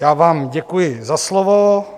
Já vám děkuji za slovo.